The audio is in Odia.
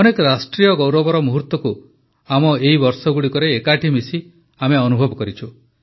ଅନେକ ରାଷ୍ଟ୍ରୀୟ ଗୌରବର ମୁହୂର୍ତ୍ତକୁ ଆମ ଏହି ବର୍ଷଗୁଡ଼ିକରେ ଏକାଠି ମିଶି ଅନୁଭବ କରିଛୁ